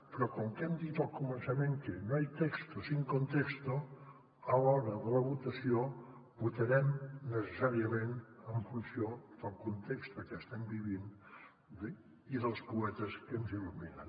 però com que hem dit al començament que no hay texto sin contexto a l’hora de la votació votarem necessàriament en funció del context que estem vivint i dels poetes que ens il·luminen